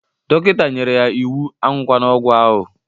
Dọkịta nyere ya iwu, aṅụkwana ọgwụ ahụ!